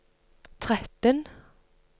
tretten